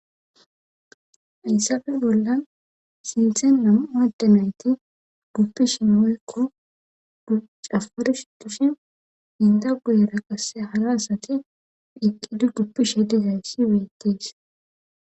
Hayssafe bollan sinthen nam7u adde nayti guppishin wpykko cafarishe dishin intta guyera qassi hara asati qasse eqqidi guppishe dizayssi beettees.